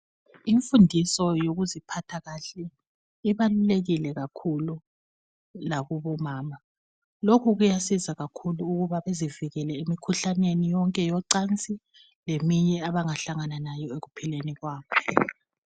Imfundiso yokuziphatha kahle ibalulekile kakhulu lakubomama. Lokhu kuyasiza kakhulu ukuba bezivikele emikhuhlaneni yonke yocansi leminye abangahlangana layo ekuphileni kwabo.